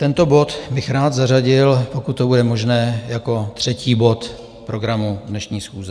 Tento bod bych rád zařadil, pokud to bude možné, jako třetí bod programu dnešní schůze.